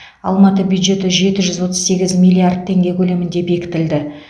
алматы бюджеті жеті жүз отыз сегіз миллиард теңге көлемінде бекітілді